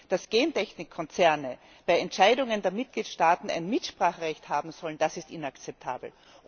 Dass Gentechnikkonzerne bei Entscheidungen der Mitgliedstaaten ein Mitspracherecht haben sollen, das ist inakzeptabel!